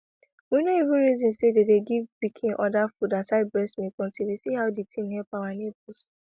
we no even reason say then dey give pikin other food aside breast milk until we see how the thing help our neighbors